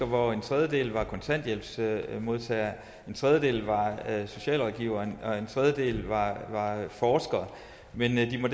hvoraf en tredjedel var kontanthjælpsmodtagere en tredjedel var socialrådgivere og en tredjedel var forskere men inden